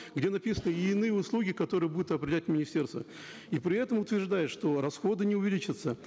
где написано и иные услуги которые будут определять министерство и при этом утверждают что расходы не увеличатся